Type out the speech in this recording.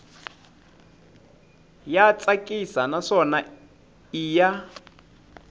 ya tsakisa naswona i ya